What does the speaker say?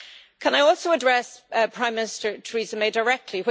Can I also address Prime Minister Theresa May directly?